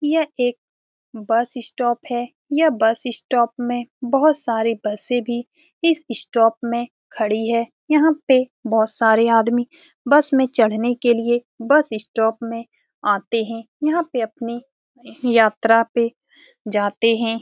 ये एक bus stop है ये बस स्टॉप में बहुत सारे बसें भी इस स्टॉप में खड़ी है यहाँ पे बहुत सारे आदमी बस में चढ़ने के लिए बस स्टॉप में आते हैं यहाँ पे अपनी यात्रा पे जाते हैं ।